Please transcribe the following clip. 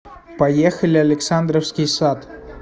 поехали александровский сад